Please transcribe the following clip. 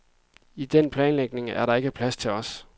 I den planlægning er der ikke plads til os.